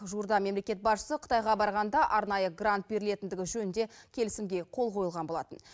жуырда мемлекет басшысы қытайға барғанда арнайы грант берілетіндігі жөнінде келісімге қол қойылған болатын